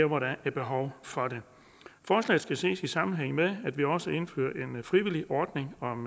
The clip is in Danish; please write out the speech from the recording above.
hvor der er behov for det forslaget skal ses i sammenhæng med at vi også indfører en frivillig ordning om